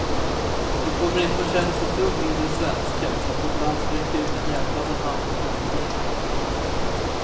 Vi kommer inte att känna oss ett dugg mindre svenska för att vårt land sträcker ut en hjälpande hand till människor i nöd.